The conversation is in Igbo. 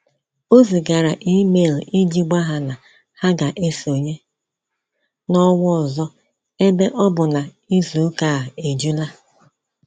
O zigara email iji gwa ha na ha ga-esonye n'ọnwa ọzọ ebe ọ bụ na izu ụka a ejula